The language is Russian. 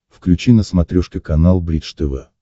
включи на смотрешке канал бридж тв